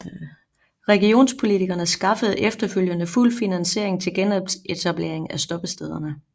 Regionspolitikerne skaffede efterfølgende fuld finansiering til genetablering af stoppestederne